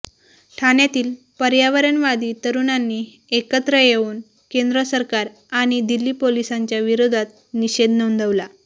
ठाण्यातील पर्यावरणवादी तरुणांनी एकत्र येऊन केंद्र सरकार आणि दिल्ली पोलिसांच्या विरोधात निषेध नोंदवला